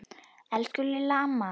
Elsku Lilla amma.